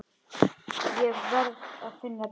Ég verð að finna biskup!